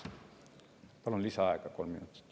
Palun lisaaega kolm minutit.